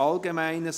Allgemeines